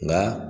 Nka